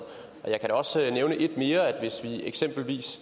jeg kan da også nævne et mere hvis vi eksempelvis